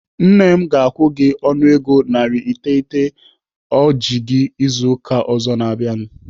Nne m ga-akwụ gị ọnụego narị iteghete ọ ji gị izu ụka ọzọ na-abịanụ.